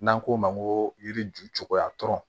N'an k'o ma ko yiriju cogoya tɔ